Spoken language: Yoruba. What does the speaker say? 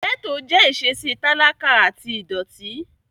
Gẹ́ẹ́tò jẹ́ ìṣesí talakà àti ìdọ̀ọ̀tí